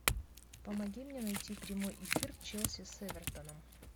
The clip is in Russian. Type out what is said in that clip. помоги мне найти прямой эфир челси с эвертоном